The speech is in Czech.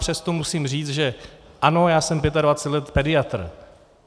Přesto musím říct, že ano, já jsem 25 let pediatr.